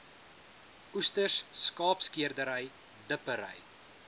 oesters skaapskeerdery dippery